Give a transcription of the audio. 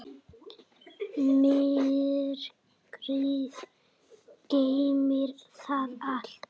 Myrkrið geymir það allt.